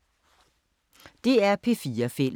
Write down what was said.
DR P4 Fælles